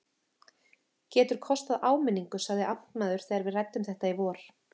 Getur kostað áminningu sagði amtmaður, þegar við ræddum þetta í vor.